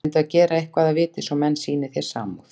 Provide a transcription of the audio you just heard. Reyndu að gera eitthvað að viti, svo menn sýni þér samúð.